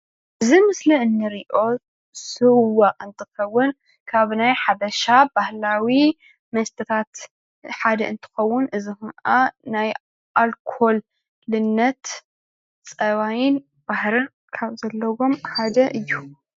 እዚ ምስሊ እንሪኦ ስዋ እንትከውን ካብ ናይ ሓበሻ ባህላዊ መስተታት ሓደ እንትከውን እዚ ከዓ ናይ ኣልኮልነት ፀባይን ባህርን ካብ ዘለዎም ሓደ እዩ፡፡